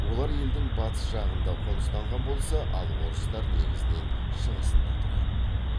олар елдің батыс жағында қоныстанған болса ал орыстар негізінен шығысында тұрады